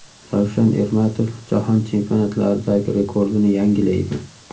Ravshan Ermatov Jahon Chempionatlaridagi rekordini yangilaydi.